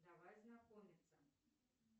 давай знакомиться